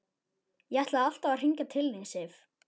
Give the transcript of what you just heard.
Ég ætlaði alltaf að hringja til þín, Sif.